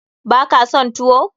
Baka son tuwo?